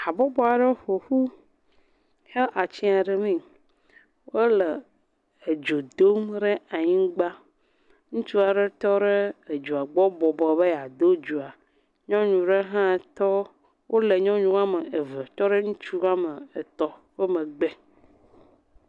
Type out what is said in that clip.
Habɔbɔ aɖe ƒo ƒu he atsiã ɖemee. Wole edzo dom rɛ anyigba. Ŋutsua rɛ tɔrɛ edzoa gbɔ bɔbɔ be yeado dzoa. Nyɔnu rɛ hã tɔ. Wole nyɔnu woame eve tɔ rɛ ŋutsu woame etɔ̃ ƒe megbe.